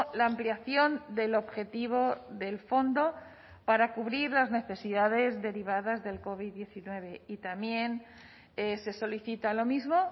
la ampliación del objetivo del fondo para cubrir las necesidades derivadas del covid diecinueve y también se solicita lo mismo